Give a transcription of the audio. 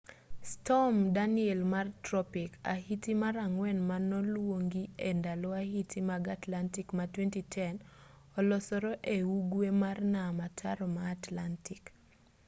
storm danielle mar tropik ahiti mar ang'wen manoluongi e ndalo ahiti mag atlantic ma 2010 olosore e ugwe mar nam ataro ma atlantic